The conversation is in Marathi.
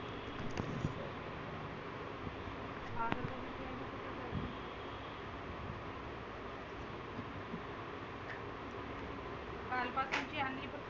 काल पासुन जी आनली